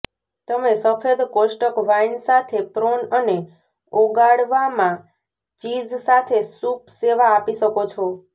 તમે સફેદ કોષ્ટક વાઇન સાથે પ્રોન અને ઓગાળવામાં ચીઝ સાથે સૂપ સેવા આપી શકો છો